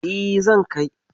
E, zan kai.